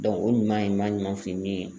o ɲuman ye ɲuman ɲuman tun ye min ye.